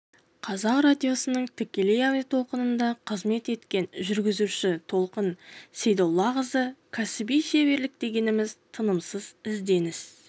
қазақ радиосының тікелей әуе толқынында қызмет еткен жүргізуші толқын сейдоллақызы кәсіби шеберлік дегеніміз тынымсыз ізденіс